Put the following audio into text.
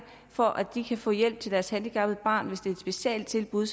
for at de kan få hjælp til deres handicappede barn hvis et specialtilbud